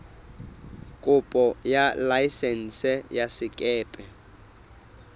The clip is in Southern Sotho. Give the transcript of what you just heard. kopo ya laesense ya sekepe